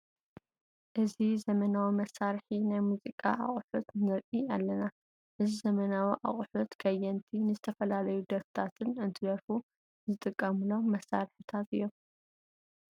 እዚ ዘመናዊ መሳርሒ ናይ ሙዚቃ ኣቁሑት ንርኢ ኣለና ። እዚ ዘመናዊ ኣቁሑት ከየንቲ ንዝተፈላለዩ ደርፍታን እንትደርፉ ዝጥቀምሎም መሳርሕታት እዮም ።